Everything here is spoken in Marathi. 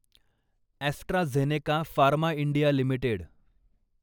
AstraZeneca pharma India limited